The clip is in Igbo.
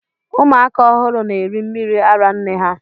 Ụmụ aka ọhụrụ na eri mmiri ara nne ha.